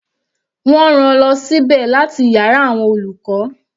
Wọ́n rán-an lọ sí ibẹ̀ láti yàrá àwọn olùkọ́.